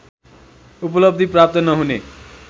उपलब्धि प्राप्त नहुने